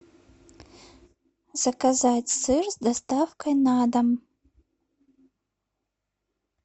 заказать сыр с доставкой на дом